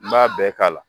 N b'a bɛɛ k'a la